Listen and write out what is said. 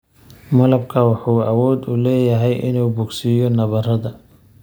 Malabku wuxuu awood u leeyahay inuu bogsiiyo nabarrada.